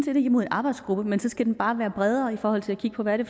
er imod en arbejdsgruppe men så skal den bare være bredere i forhold til at kigge på hvad det